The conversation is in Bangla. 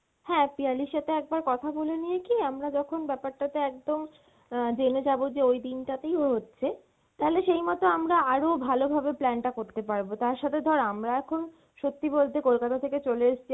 হ্যাঁ পিয়ালির সাথে একবার কথা বলে নিয়ে কী, আমরা যখন ব্যাপারটাতে একদম আহ যেনে যাবো যে ওই দিন টাতেই হচ্ছে তালে সেই মত আমরা আরো ভালোভাবে plan টা করতে পারবো, তার সাথে ধর আমরা এখন সত্যি বলতে কলকাতা থেকে চলে এসছি